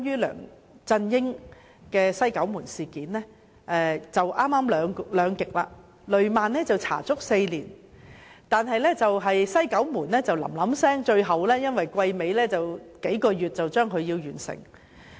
兩者剛好是兩極，雷曼事件足足調查了4年，但"西九門事件"的調查則很趕急，因為臨近會期完結，數個月便完成。